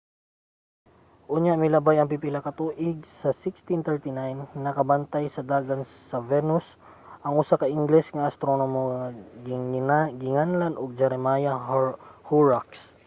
unya milabay ang pipila ka tuig sa 1639 nakabantay sa dagan sa venus ang usa ka ingles nga astronomo nga ginganlan og jeremiah horrocks